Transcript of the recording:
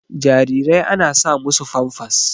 Jarirai ana sa musu Famfas